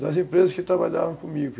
Das empresas que trabalhavam comigo.